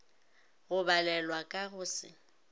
go balelwa ka go se